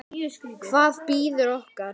Safír getur átt við